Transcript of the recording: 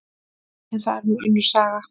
En það er nú önnur saga.